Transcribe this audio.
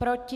Proti?